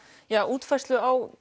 útfærslu á